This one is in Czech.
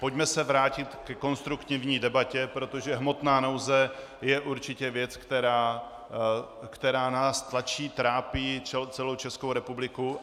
Pojďme se vrátit ke konstruktivní debatě, protože hmotná nouze je určitě věc, která nás tlačí, trápí celou Českou republiku.